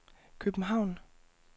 København